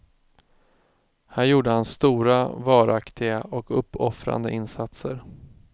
Här gjorde han stora, varaktiga och uppoffrande insatser.